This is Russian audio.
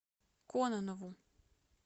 кононову